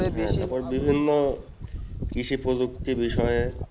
আবার বিভিন্ন কৃষি প্রযুক্তি বিষয়ে